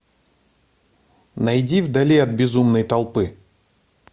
найди вдали от безумной толпы